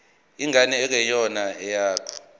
ingane engeyona eyakho